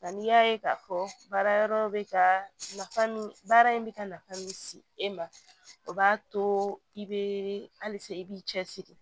Nka n'i y'a ye k'a fɔ baara yɔrɔ bɛ ka nafa min baara in bɛ ka nafa min se e ma o b'a to i bɛ halisa i b'i cɛsiri